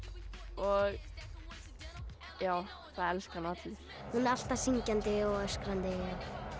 og það elska hana allir hún er alltaf syngjandi og öskrandi og